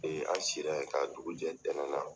an sira ye ka dugu jɛ ntɛnɛn na.